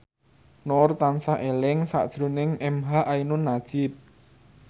Nur tansah eling sakjroning emha ainun nadjib